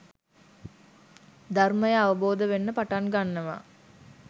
ධර්මය අවබෝධ වෙන්න පටන් ගන්නවා.